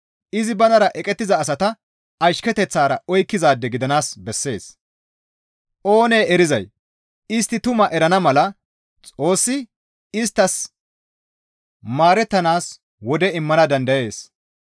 Izi banara eqettiza asata ashketeththara oykkizaade gidanaas bessees; oonee erizay istti tumaa erana mala Xoossi isttas maarettanaas wode immana dandayees.